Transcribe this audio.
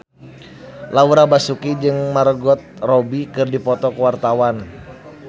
Laura Basuki jeung Margot Robbie keur dipoto ku wartawan